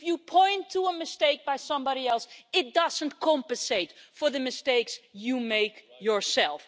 If you point to a mistake by somebody else, it doesn't compensate for the mistakes you make yourself.